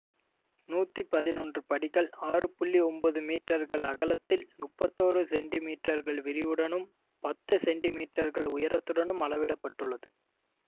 நூத்தி பதினொன்று படிகள் ஆறு புள்ளி ஒன்பது மீற்றர்கள் அகலத்தில் முப்பத்தோரு சென்டிமீற்றர்கள் விரிவுடனும் பத்து சென்டிமீற்றர்கள் உயரத்துடனும் அளவிடப்பட்டுள்ளது